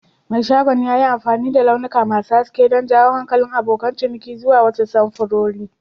Mai shagon ya yi amfani da launuka masu haske don jawo hankalin abokan ciniki zuwa wasu samfurori.